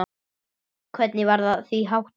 Hvernig var því háttað?